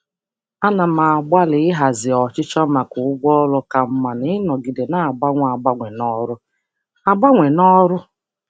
Ana m agbalị ịhazi ọchịchọ maka ụgwọ ọrụ ka mma na ịnọgide na-agbanwe agbanwe n'ọrụ. agbanwe n'ọrụ.